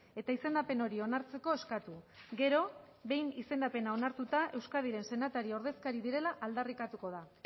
eta izendapen hori onartzeko eskatu gero behin izendapena onartuta euskadiren senatari ordezkari direla aldarrikatuko da